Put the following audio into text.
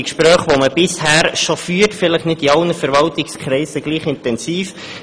Die Gespräche führt man bisher schon, vielleicht nicht in allen Verwaltungskreisen gleich intensiv.